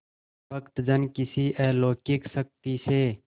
भक्तजन किसी अलौकिक शक्ति से